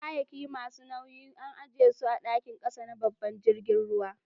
Kayakin masu nau'in an ajie su a'dakin kasa na babban jirigin ruwan.